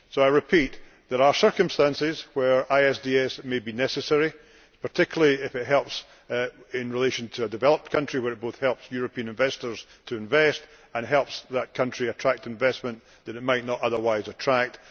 So I repeat there are circumstances where ISDS may be necessary, particularly if it helps in relation to a developed country, where it helps both European investors to invest and that country to attract investment that it might not otherwise attract.